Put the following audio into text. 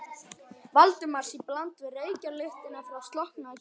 Valdimars í bland við reykjarlyktina frá slokknaða kertinu.